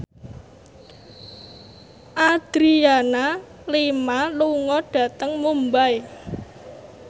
Adriana Lima lunga dhateng Mumbai